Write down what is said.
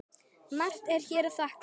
Margt er hér að þakka